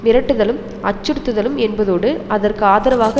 மிரட்டுதலும் அச்சுறுத்துதலும் என்பதோடு அதற்கு ஆதரவாக